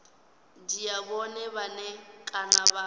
dzhia vhone vhane kana vha